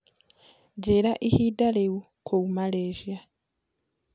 njĩĩraĩhĩnda riu kũũ malaysia